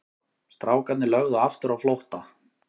Strákarnir lögðu aftur á flótta.